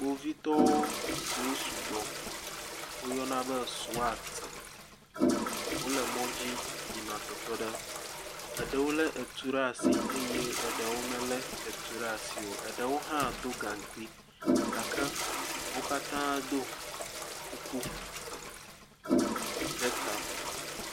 Kpovitɔwo siwo sugbɔ, woyana be swat, wole mɔdzi yina ɖe teƒe ɖe, eɖewo lé etu ɖe asi eye eɖewo hã melé etu ɖe asi o, eɖewo hã do gaŋkui, gake wo katã do kuku ɖe ta.